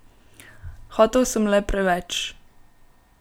Hotel sem le preveč.